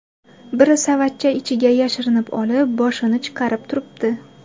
Biri savatcha ichiga yashirinib olib, boshini chiqarib turibdi.